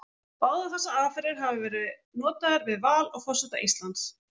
Báðar þessar aðferðir hafa verið notaðar við val á forseta Íslands.